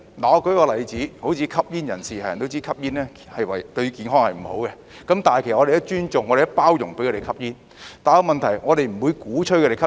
我舉個例子，正如吸煙人士，人人都知道吸煙對健康不好，但我們也尊重和包容他們吸煙，但問題是我們不會鼓吹吸煙。